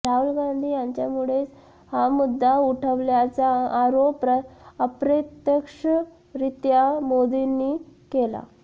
रहुल गांधी यांच्यामुळेच हा मुद्दा उठवल्याचा आरोप अप्रत्यक्षरित्या मोदींनी केला